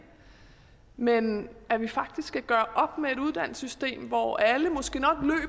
men at vi faktisk skal gøre op med et uddannelsessystem hvor alle måske nok